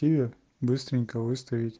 север быстренько выставить